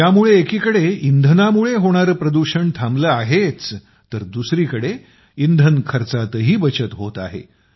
यामुळे एकीकडे इंधनामुळे होणारे प्रदूषण थांबले आहेच तर दुसरीकडे इंधन खर्चातही बचत होत आहे